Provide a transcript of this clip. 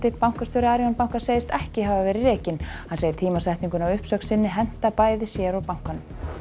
bankastjóri Arion banka segist ekki hafa verið rekinn hann segir tímasetninguna á uppsögn sinni henta bæði sér og bankanum